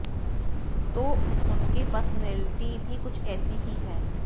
तो उनकी पर्सनैलिटी भी कुछ ऐसी ही हैं